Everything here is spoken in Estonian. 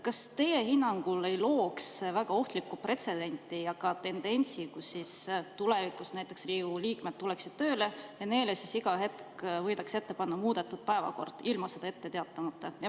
Kas teie hinnangul ei looks see väga ohtlikku pretsedenti ja ka tendentsi, et tulevikus näiteks Riigikogu liikmed tuleksid tööle ja neile võidakse iga hetk ette panna muudetud päevakord ilma sellest ette teatamata?